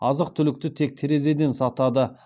азық түлікті тек терезеден сатады